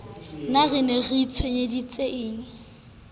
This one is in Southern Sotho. na re ne re itshwenyetsang